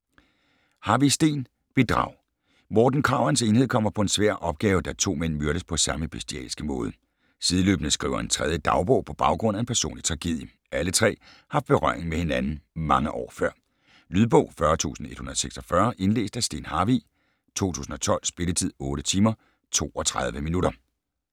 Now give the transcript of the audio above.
Harvig, Steen: Bedrag Morten Krag og hans enhed kommer på en svær opgave, da to mænd myrdes på samme bestialske måde. Sideløbende skriver en tredje dagbog på baggrund af en personlig tragedie. Alle tre har haft berøring med hinanden mange år før. Lydbog 40146 Indlæst af Steen Harvig, 2012. Spilletid: 8 timer, 32 minutter.